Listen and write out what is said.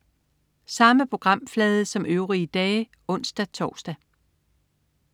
Samme programflade som øvrige dage (ons-tors)